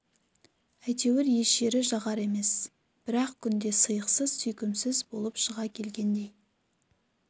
әйтеуір еш жері жағар емес бңр-ақ күнде сыйықсыз сүйкімсіз болып шыға келгендей